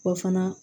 O fana